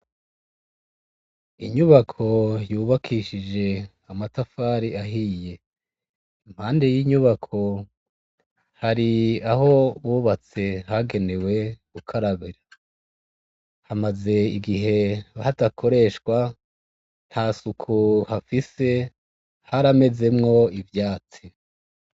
Inyubako yubakishije amatafari ahiye impande y'inyubako hari aho bubatse hagenewe gukarababira hamaze igihe hatakoreshwa nta suku hafise haramezemwo ivyatsi.